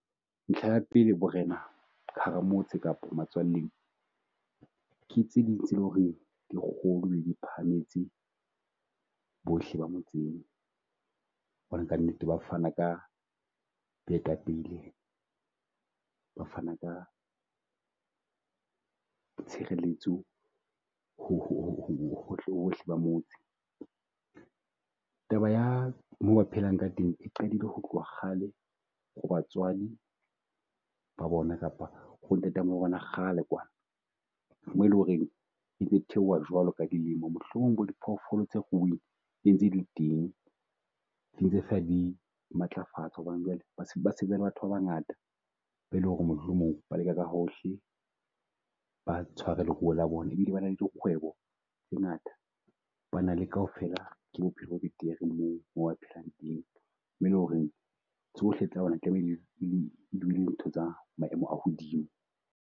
Ntlha ya pele borena ka hara motse kapa ke tse ding tse leng ho re di kgolo di phahametse bohle ba motseng mona. Hobane ka nnete ba fana ka boetapele, ba fana ka tshireletso hohle hohle ba motse. Taba ya moo ba phelang ka teng e qadile ho tloha kgale ho batswadi ba bona kapa bo ntatamoholo wa bona kgale kwana. Mo e leng ho reng entse theoha jwalo ka dilemo mohlomong bo diphoofolo tsa ruuweng ntse di teng dintse fela di matlafatswa hobane jwale batho ba bangata. Be e leng ho re mohlomong ba leka ka hohle ba tshware leruo la bona e bile ba na dikgwebo tse ngata. Ba na le kaofela ke bophelo bo betere moo mo phelang le ho reng tsohle tsa bona tlamehile e dule ntho tsa maemo a hodimo.